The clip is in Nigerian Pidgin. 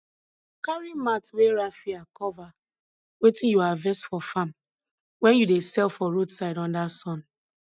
carry mat wey rafia cover wetin you harvest for farm wen you dey sell for roadside under sun